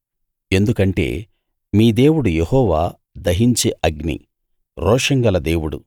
ఎందుకంటే మీ దేవుడు యెహోవా దహించే అగ్ని రోషం గల దేవుడు